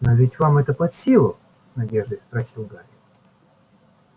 но ведь вам это под силу с надеждой спросил гарри